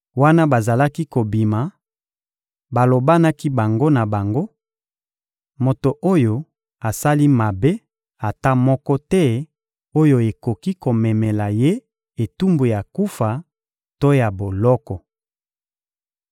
Wana bazalaki kobima, balobanaki bango na bango: — Moto oyo asali mabe ata moko te oyo ekoki komemela ye etumbu ya kufa to ya boloko.